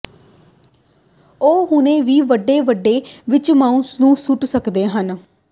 ਉਹ ਹੁਣੇ ਹੀ ਵੱਡੇ ਵਿੰਡੋ ਵਿੱਚ ਮਾਊਸ ਨੂੰ ਸੁੱਟ ਸਕਦੇ ਹੋ